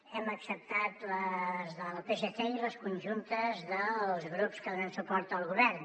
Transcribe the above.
hem acceptat les del psc i les conjuntes dels grups que donen suport al govern